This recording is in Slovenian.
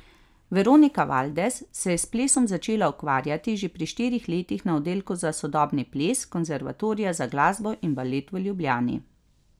Veronika Valdes se je s plesom začela ukvarjati že pri štirih letih na Oddelku za sodobni ples Konservatorija za glasbo in balet v Ljubljani.